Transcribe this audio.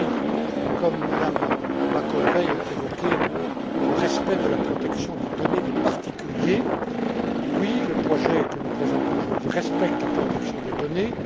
M. Rübig comme Mme Macovei ont évoqué le respect de la protection des données des particuliers. Oui, le projet que nous présentons aujourd'hui respecte la protection des données.